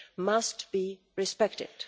must be respected.